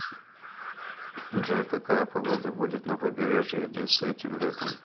джой какая погода будет на побережье одессы этим летом